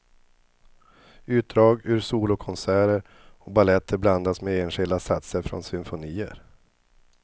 Utdrag ur solokonserter och baletter blandas med enskilda satser från symfonier.